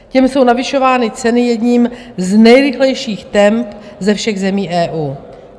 Těm jsou navyšovány ceny jedním z nejrychlejších temp ze všech zemí EU.